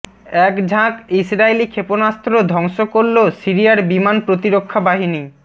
এক ঝাঁক ইসরাইলি ক্ষেপণাস্ত্র ধ্বংস করল সিরিয়ার বিমান প্রতিরক্ষা বাহিনী